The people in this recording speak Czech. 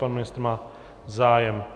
Pan ministr má zájem.